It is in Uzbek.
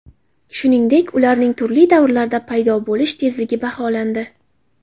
Shuningdek, ularning turli davrlarda paydo bo‘lish tezligi baholandi.